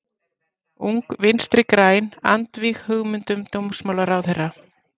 Ung vinstri græn andvíg hugmyndum dómsmálaráðherra